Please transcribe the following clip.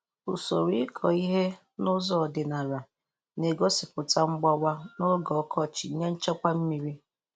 Usoro ịkọ he n'ụzọ ọdịnala na-egosịpụta mgbawa n'oge ọkọchị nye nchekwa mmiri.